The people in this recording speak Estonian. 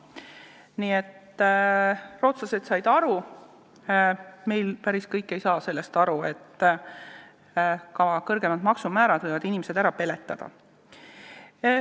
Nii et rootslased said aru – meil päris kõik ei saa sellest aru –, et ka kõrgemad maksumäärad võivad inimesed ära peletada.